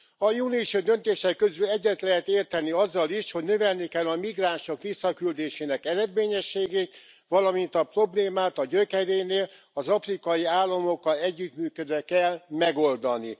A június 5 i döntések közül egyet lehet érteni azzal is, hogy növelni kell a migránsok visszaküldésének eredményességét, valamint a problémát a gyökerénél, az afrikai államokkal együttműködve kell megoldani.